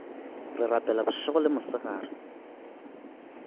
re rapela bošego le mosegare